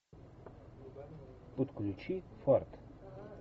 подключи фарт